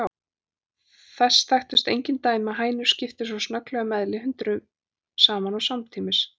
Þess þekktust engin dæmi að hænur skiptu svo snögglega um eðli, hundruðum saman og samtímis.